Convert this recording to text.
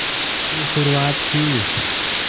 की शुरुआत की